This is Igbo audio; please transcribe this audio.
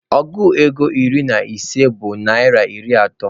Ọgụ ego iri na ise bụ naịra iri atọ.